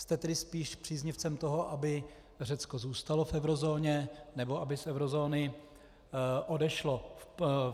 Jste tedy spíš příznivcem toho, aby Řecko zůstalo v eurozóně, nebo aby z eurozóny odešlo?